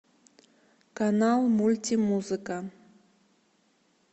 канал мультимузыка